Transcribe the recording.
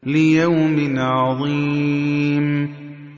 لِيَوْمٍ عَظِيمٍ